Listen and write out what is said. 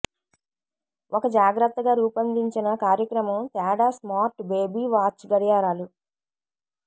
ఒక జాగ్రత్తగా రూపొందించిన కార్యక్రమం తేడా స్మార్ట్ బేబీ వాచ్ గడియారాలు